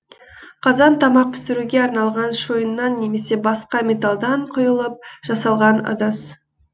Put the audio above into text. қазан тамақ пісіруге арналған шойыннан немесе басқа металдан құйылып жасалған ыдыс